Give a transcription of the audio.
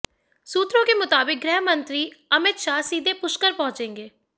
सूत्रों के मुताबिक गृह मंत्री अमित शाह सीधे पुष्कर पहुंचेंगे